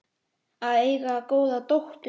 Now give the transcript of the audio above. Að eiga góða dóttur.